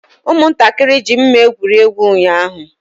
Ụmụntakịrị ji mma egwuri egwu ụnyaahụ.